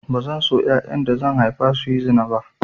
Bazan so yayan da zan haifa su yi zina ba